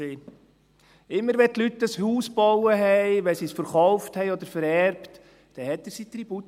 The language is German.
Immer, wenn die Leute ein Haus bauten, wenn sie es verkauften oder vererbten, forderte er seinen Tribut.